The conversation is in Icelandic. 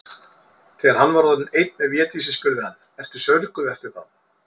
Þegar hann var orðinn einn með Védísi spurði hann:-Ertu saurguð eftir þá.